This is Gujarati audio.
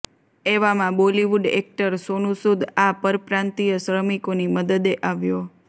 એવામાં બોલિવુડ એક્ટર સોનુ સૂદ આ પરપ્રાંતીય શ્રમિકોની મદદે આવ્યો